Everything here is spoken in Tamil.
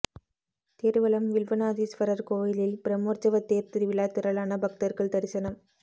திருவலம் வில்வநாதீஸ்வரர் கோயிலில் பிரமோற்சவ தேர் திருவிழா திரளான பக்தர்கள் தரிசனம்